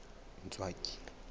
ntswaki